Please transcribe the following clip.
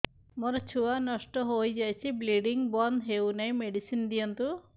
ମୋର ଛୁଆ ନଷ୍ଟ ହୋଇଯାଇଛି ବ୍ଲିଡ଼ିଙ୍ଗ ବନ୍ଦ ହଉନାହିଁ ମେଡିସିନ ଦିଅନ୍ତୁ